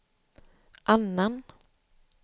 annan